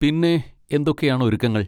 പിന്നെ എന്തൊക്കെയാണ് ഒരുക്കങ്ങൾ?